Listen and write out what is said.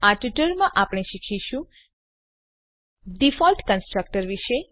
આ ટ્યુટોરીયલમાં આપણે શીખીશું ડિફોલ્ટ કન્સ્ટ્રક્ટર વિશે